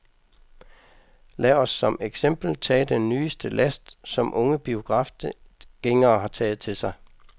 Lad os som eksempel tage den nyeste last, som unge biografgængere har taget til sig.